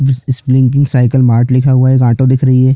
Spring की cycle mart लिखा हुआ है एक ऑटो दिख रही है।